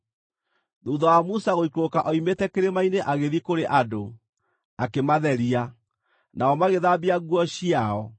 Thuutha wa Musa gũikũrũka oimĩte kĩrĩma-inĩ agĩthiĩ kũrĩ andũ, akĩmatheria, nao magĩthambia nguo ciao.